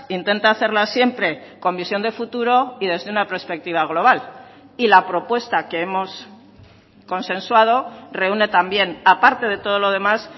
intenta hacerlas siempre con visión de futuro y desde una perspectiva global y la propuesta que hemos consensuado reúne también aparte de todo lo demás